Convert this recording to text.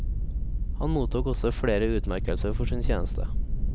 Han mottok også flere utmerkelser for sin tjeneste.